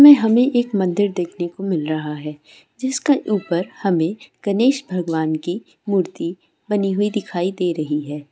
मे हमे एक मंदीर देखने को मिल रहा है जिसके ऊपर हमे गणेश भगवान की मूर्ति बनी हुई दिखाई दे रही है।